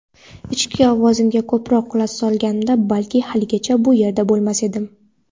ichki ovozimga ko‘proq quloq solganimda balki haligacha bu yerda bo‘lmasdim.